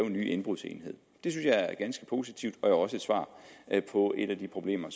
en ny indbrudsenhed det synes jeg er ganske positivt og jo også et svar på et af de problemer